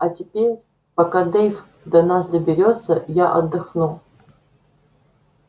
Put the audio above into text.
а теперь пока дейв до нас добирается я отдохну